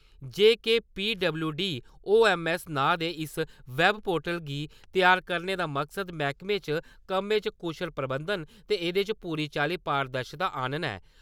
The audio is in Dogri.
जेकेपीडबल्यूडीओएमएस नांऽ दे इस वैबपोर्टल गी तैयार करने दा मकसद मैह्कमें च कम्मे च कुशल प्रबंधन ते एह्दे च पूरी चाल्ली पारदर्शिता आनना ऐ।